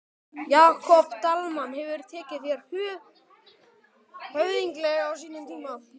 Jakob Dalmann hefur tekið þér höfðinglega á sínum tíma?